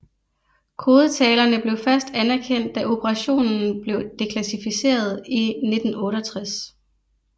Kodetalerne blev først anerkendt da operationen blev deklassificeret i 1968